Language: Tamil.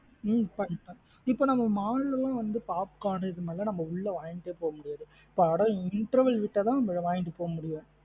ஹம் இப்ப நம்ம mall லாம் வந்து popcorn இது மாத்ரி எல்லாம் உள்ள வாங்கிட்டே போகமுடியாது? படம் interval விட்ட தன் வாங்கிட்டு போக முடியும்.